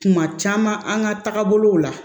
Kuma caman an ka taabolow la